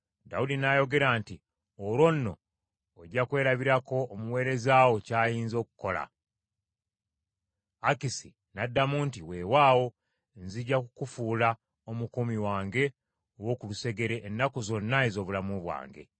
Dawudi n’ayogera nti, “Olwo nno ojja kwerabirako omuweereza wo kyayinza okukola.” Akisi n’addamu nti, “Weewaawo, nzija kukufuula omukuumi wange ow’oku lusegere ennaku zonna ez’obulamu bwange.”